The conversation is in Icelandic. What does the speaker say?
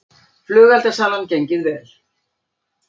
Flugeldasalan gengið vel